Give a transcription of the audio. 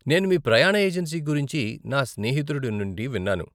నేను మీ ప్రయాణ ఏజెన్సీ గురించి నా స్నేహితుడి నుండి విన్నాను.